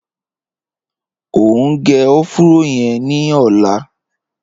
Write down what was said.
O ń gé ọ̀fùró yẹn ni ọ̀lá